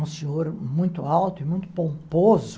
Um senhor muito alto e muito pomposo.